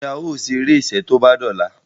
Njé ào ṣeré iṣé tó bá dì ola?